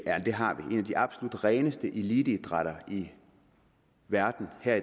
og det har vi en af de absolut reneste eliteidrætter i verden er